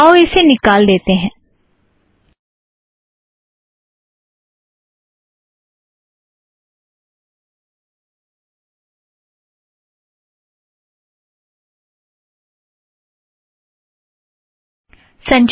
आओ इसे निकाल देते हैँ